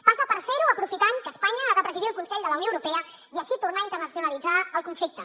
passa per fer ho aprofitant que espanya ha de presidir el consell de la unió europea i així tornar a internacionalitzar el conflicte